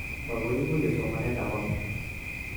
Maguiguiye somanetab amut